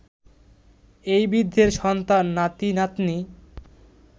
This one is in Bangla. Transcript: এই বৃদ্ধের সন্তান, নাতি-নাতনি